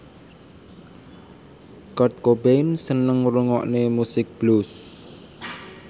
Kurt Cobain seneng ngrungokne musik blues